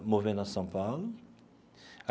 Do Movimento Nosso São Paulo.